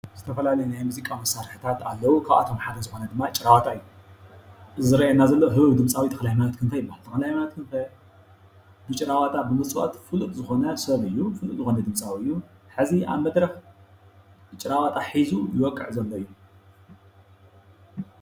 ዝተፈላለየ ናይ ሙዚቃ መሳርሕታት ኣለዉ። ካብኣቶም ሓደ ዝኮነ ጭራ ዋጣ እዩ። እዚ ዝርኣየና ዘሎ ህቡብ ድምፃዊ ተክለሃይማኖት ክንፈ ይበሃል። ተክለሃይማኖት ክንፈ ብ ጭራዋጣ ብምፅዋት ፍሉጥ ዝኮነ ሰብ እዩ ዝኮነ ድምፃዊ እዩ። ሕዚ ኣብ መድረክ ጭራዋጣ ሒዙ ይወቅዕ ዘሎ እዩ።